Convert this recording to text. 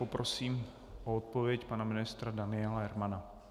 Poprosím o odpověď pana ministra Daniela Hermana.